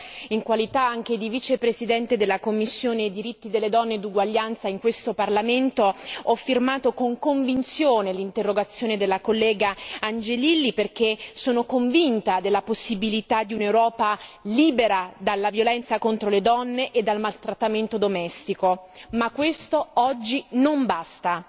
Io, in qualità anche di vicepresidente della commissione per i diritti delle donne e la parità di genere in questo Parlamento, ho firmato con convinzione l'interrogazione della collega Angelilli perché sono convinta della possibilità di un'Europa libera dalla violenza contro le donne e dal maltrattamento domestico, ma questo oggi non basta.